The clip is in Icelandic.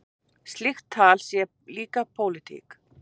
Sprenging í tyrkneskri olíuleiðslu